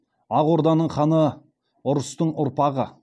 ақ орданың ханы ұрыстың ұрпағы